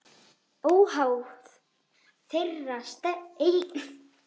Óháð þeirra eigin stefnu.